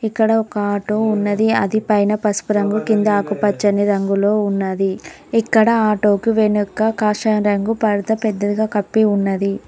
ఇక్కడ ఆటో ఉన్నది అది పైన పసుపు రంగు కింద ఆకు పచ్చని రంగులో ఉన్నది ఇక్కడ ఆటోకి వెనక కాషాయం రంగు పడత పెద్దదిగా కప్పి ఉన్నది.